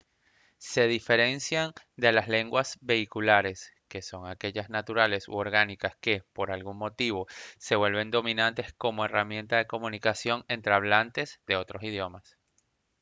se diferencian de las lenguas vehiculares que son aquellas naturales u orgánicas que por algún motivo se vuelven dominantes como herramienta de comunicación entre hablantes de otros idiomas